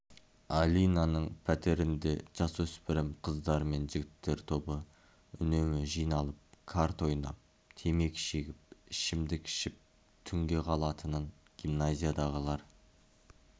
алинаның пәтерінде жасөспірім қыздар мен жігіттер тобы үнемі жиналып карта ойнап темекі шегіп ішімдік ішіп түнге қалатынын гимназиядағылар